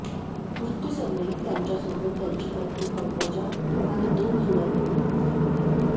मृत्यूसमयी त्यांच्यासोबत त्यांची पत्नी पंकजा आणि दोन जुळ्या मुली हजर होत्या